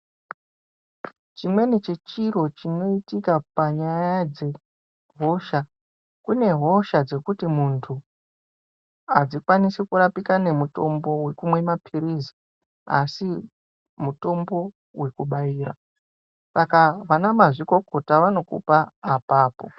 Chimweni chechiro chinoitika panyaya dzehosha, kune hosha dzekuti muntu adzikwanisi kurapika nemutombo wekumwe mapilizi asi mutombo wekubaira saka ana mazvikokota vanokupa apapo.